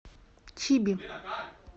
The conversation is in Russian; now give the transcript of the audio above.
чиби